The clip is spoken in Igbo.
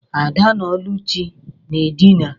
Ada na Oluchi na edina.